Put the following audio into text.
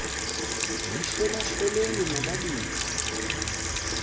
yihlola hloleni nobabini